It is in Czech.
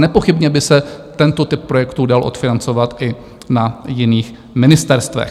Nepochybně by se tento typ projektu dal odfinancovat i na jiných ministerstvech.